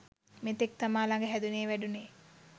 මෙතෙක් තමා ළග හැදුනේ වැඩුනේ